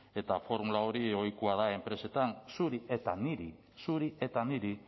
eta formula hori ohikoa da enpresetan zuri eta niri zuri eta niri